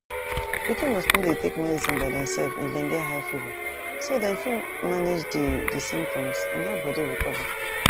pikin must no dey take medicine by demself if dem get high fever so dem fit manage di di symptoms and help body recover